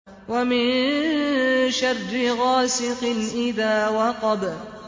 وَمِن شَرِّ غَاسِقٍ إِذَا وَقَبَ